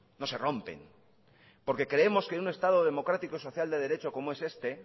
no se rompen porque creemos que en un estado democrático social de derecho como es este